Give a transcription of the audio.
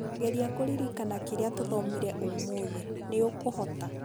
geria kũririkana kĩrĩa tũthomire ũmũthĩ, nĩũkũhota